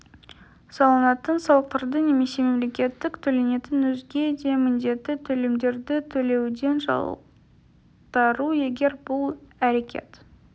салынатын салықтарды немесе мемлекеттік төленетін өзге де міндетті төлемдерді төлеуден жалтару егер бұл әрекет